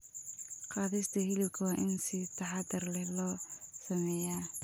Qaadista hilibka waa in si taxadar leh loo sameeyaa.